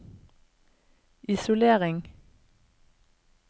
isolering